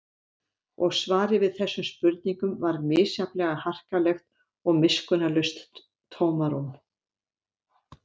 Og svarið við þessum spurningum var misjafnlega harkalegt og miskunnarlaust tómarúm.